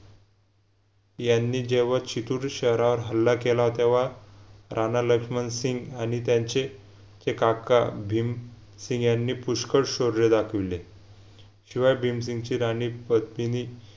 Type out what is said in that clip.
यांनी जेव्हा छितूर शहरावर हल्ला केला तेव्हा राणा लक्ष्मण सिंग आणि त्यांचे चे काका भीम सिंग यांनी पुष्कड शौर्य दाखविले शिवाय भीमसिंगची राणी पद्मिनी